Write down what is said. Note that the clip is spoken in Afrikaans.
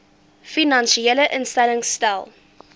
finansiële instellings stel